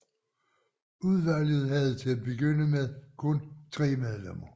Udvalget havde til at begynde med kun tre medlemmer